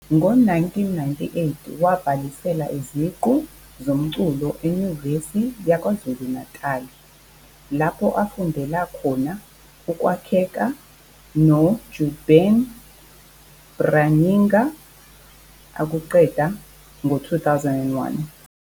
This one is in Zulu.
Ngo-1998 wabhalisela iziqu zomculo eNyuvesi yaKwaZulu-Natali lapho afundela khona ukwakheka noJürgen Bräuninger, akuqeda ngo-2001.